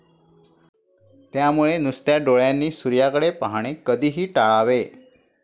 त्यामुळे नुसत्या डोळ्यांनी सूर्याकडे पाहणे कधीही टाळावे.